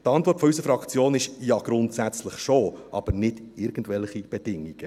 Die Antwort auf unsere Frage ist: «Ja, grundsätzlich schon, aber nicht irgendwelche Bedingungen.